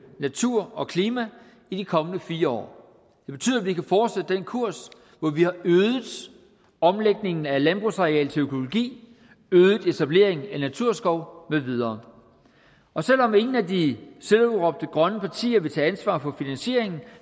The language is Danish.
natur og klima i de kommende fire år det betyder at vi kan fortsætte den kurs hvor vi har øget omlægningen af landbrugsareal til økologi øget etableringen af naturskov med videre og selv om ingen af de selvudråbte grønne partier vil tage ansvar for finansieringen